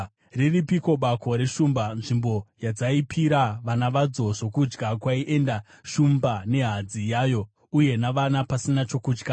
Riripiko bako reshumba, nzvimbo yadzaipira vana vadzo zvokudya, kwaienda shumba nehadzi yayo, uye navana, pasina chokutya.